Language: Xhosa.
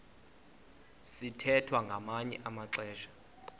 sithwethwa ngamanye amaxesha